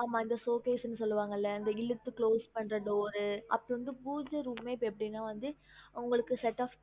ஆமா இந்த showcase னு சொல்லுவாங்கல்ல அந்த இழுத்து close பண்ற door அப்பறம் வந்து பூஜ room மே இப்ப எப்படினா வந்து உங்களுக்கு set off